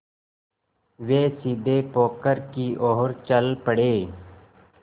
वे सीधे पोखर की ओर चल पड़े